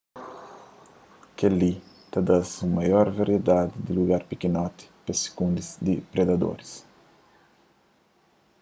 kel-li ta da-s un maior variedadi di lugar pikinoti pe-s sukundi di predadoris